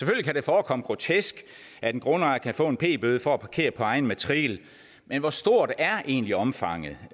kan det forekomme grotesk at en grundejer kan få en p bøde for at parkere på egen matrikel men hvor stort er egentlig omfanget